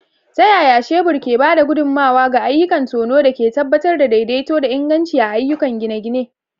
Ta yaya shebur ke ba da gudummawa ga ayyukan tono da ke tabbatar da daidaito da inganci a ayyukan gine-gine?